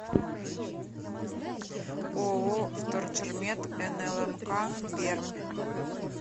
ооо вторчермет нлмк пермь